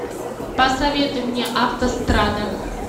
посоветуй мне автострада